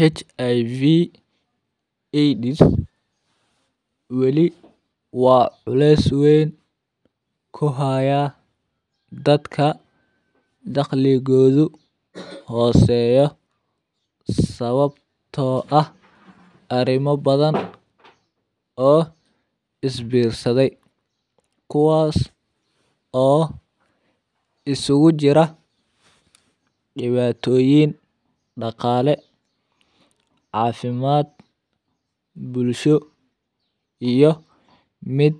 HIV AIDS weli waa las weyn ku haya dadka dakhliguugu hooseeya, sababtoo ah arrimo badan oo isbiirsaday kuwaas oo isugu jira dhibaatoyin, dhaqaale, caafimaad, bulsho iyo mid